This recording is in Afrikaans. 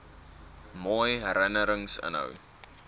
mooi herinnerings inhou